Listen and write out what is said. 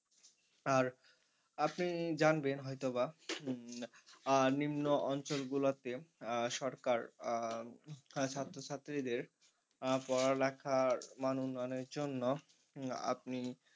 আর আপনি জানবেন হয়তো বা উম আহ নিম্ন অঞ্চল গুলোতে আহ সরকার আহ ছাত্র ছাত্রীদের আহ পড়ালেখার মান উন্নয়নের জন্য উম আপনি